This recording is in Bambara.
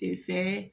fɛn